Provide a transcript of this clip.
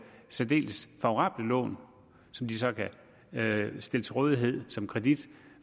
særdeles favorable lån som de så kan stille til rådighed som kredit